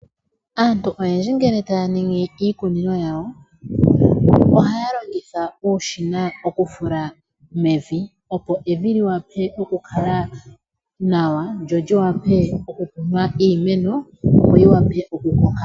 Aantu oyendji ngele taya ningi iikunino yawo, ohaya longitha uushina okufula mevi opo evi liwape oku kala nawa, lyo liwape okukunwa iimeno yo yi wape oku koka.